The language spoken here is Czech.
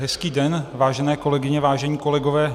Hezký den, vážené kolegyně, vážení kolegové.